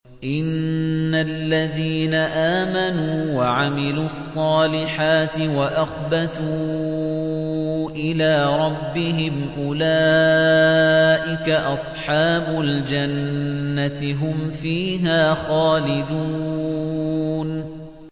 إِنَّ الَّذِينَ آمَنُوا وَعَمِلُوا الصَّالِحَاتِ وَأَخْبَتُوا إِلَىٰ رَبِّهِمْ أُولَٰئِكَ أَصْحَابُ الْجَنَّةِ ۖ هُمْ فِيهَا خَالِدُونَ